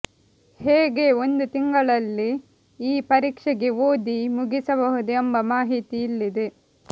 ಹೇಗೆ ಒಂದು ತಿಂಗಳಲ್ಲಿ ಈ ಪರೀಕ್ಷೆಗೆ ಓದಿ ಮುಗಿಸಬಹುದು ಎಂಬ ಮಾಹಿತಿ ಇಲ್ಲಿದೆ